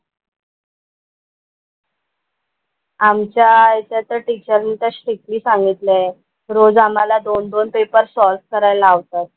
आमच्या इथे तर टीचरनी तर स्ट्रिक्टली सांगितलय रोज आम्हाला दोन दोन पेपर्स सॉल्व्ह करायला लावतात.